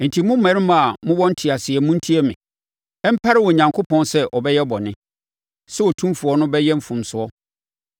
“Enti mo mmarima a mowɔ nteaseɛ montie me. Ɛmpare Onyankopɔn sɛ ɔbɛyɛ bɔne, sɛ Otumfoɔ no bɛyɛ mfomsoɔ.